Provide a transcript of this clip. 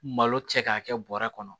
Malo cɛ k'a kɛ bɔrɛ kɔnɔ